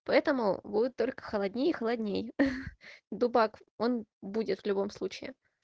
поэтому будет только холоднее и холоднее дубак он будет в любом случае